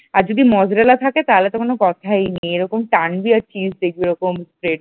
আর যদি মোসরেলা থাকে তাহলে তো কোন কথাই নেই এরকম টানবি আর cheese দেখবি ওরকম taste ।